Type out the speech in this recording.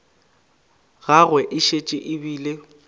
gagwe e šetše e bile